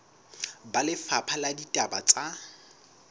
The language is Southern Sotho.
ba lefapha la ditaba tsa